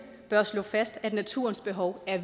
bør slå fast at naturens behov er